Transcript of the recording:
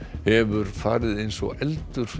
hefur farið eins og eldur